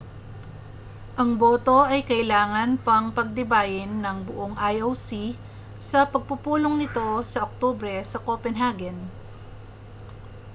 ang boto ay kailangan pang pagtibayin ng buong ioc sa pagpupulong nito sa oktubre sa copenhagen